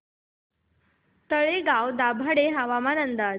तळेगाव दाभाडे हवामान अंदाज